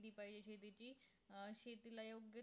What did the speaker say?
thirty fiveGB ची अं ठेच line